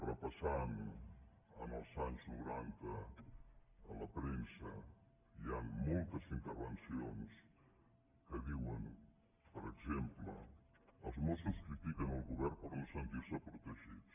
repassant els anys noranta la premsa hi ha moltes inter·vencions que diuen per exemple els mossos critiquen el govern per no sentir·se protegits